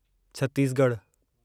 छत्तीसगढ़ु